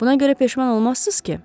Buna görə peşman olmazsız ki?